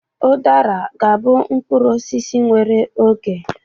Ụdara ga-abụ mkpụrụ osisi nwere oge.